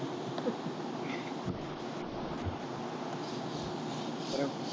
அப்புறம்